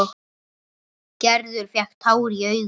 Gerður fékk tár í augun.